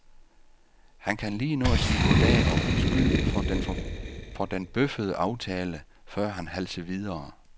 Han kan lige nå at sige goddag og undskylde for den bøffede aftale, før han halser videre.